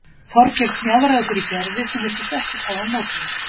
Þorgeir smjaðraði fyrir Gerði sem virtist ekkert hafa á móti því.